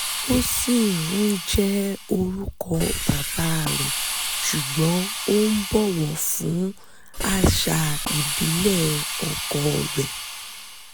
ó ṣì ń jẹ́ orúkọ bàbá rẹ̀ ṣùgbọ́n ó ń bọ̀wọ̀ fún àṣà ìbílẹ̀ ọ̣kọ̣ rẹ̀